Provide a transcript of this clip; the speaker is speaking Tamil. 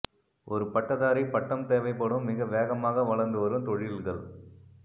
ஒரு பட்டதாரி பட்டம் தேவைப்படும் மிக வேகமாக வளர்ந்து வரும் தொழில்கள்